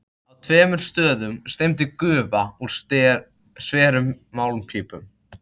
Á tveimur stöðum streymdi gufa úr sverum málmpípum.